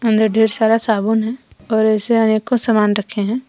अंदर ढेर सारा साबुन है और ऐसे अनेकों सामान रखे हैं।